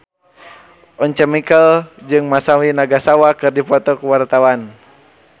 Once Mekel jeung Masami Nagasawa keur dipoto ku wartawan